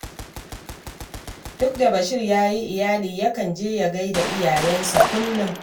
Duk da Bashir ya yi iyali yakan je ya gai da iyayensa kullum